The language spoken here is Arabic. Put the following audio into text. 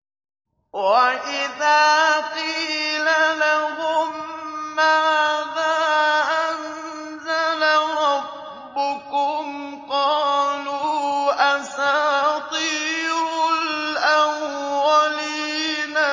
وَإِذَا قِيلَ لَهُم مَّاذَا أَنزَلَ رَبُّكُمْ ۙ قَالُوا أَسَاطِيرُ الْأَوَّلِينَ